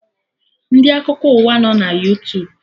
Ndị Akụkọ ụwa nọ na Yootubu